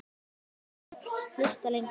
Nú viltu hlusta lengur.